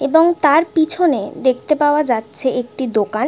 এবং তার পিছনে দেখতে পাওয়া যাচ্ছে একটি দোকান ।